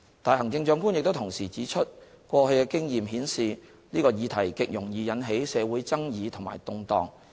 但行政長官亦同時指出，過去經驗顯示這個議題極容易引起社會爭議和動盪。